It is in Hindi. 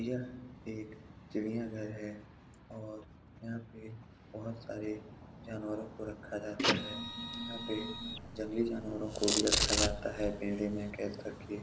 यह एक चिड़ियाँ घर है और यहाँ पे बहुत सारे जानवरों को रखा जाता है यहाँ पे जंगली जानवरों को भी रखा जाता हैं ।